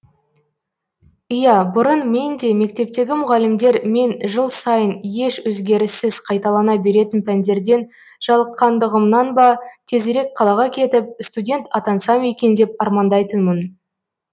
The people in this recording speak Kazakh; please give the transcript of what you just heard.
иә бұрын мен де мектептегі мұғалімдер мен жыл сайын еш өзгеріссіз қайталана беретін пәндерден жалыққандығымнан ба тезірек қалаға кетіп студент атансам екен деп армандайтынмын